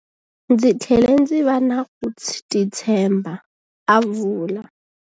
Ndzi tlhele ndzi va na ku titshemba, a vula.